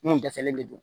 Mun dɛsɛlen de do